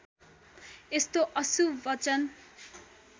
यस्तो अशुभ वचन